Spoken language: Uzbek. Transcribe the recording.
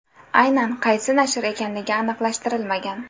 Aynan qaysi nashr ekanligi aniqlashtirilmagan.